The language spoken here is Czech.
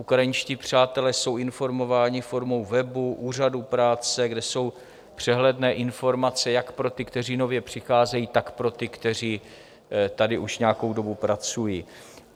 Ukrajinští přátelé jsou informování formou webu, úřadu práce, kde jsou přehledné informace jak pro ty, kteří nově přicházejí, tak pro ty, kteří tady už nějakou dobu pracují.